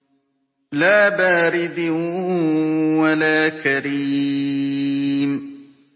لَّا بَارِدٍ وَلَا كَرِيمٍ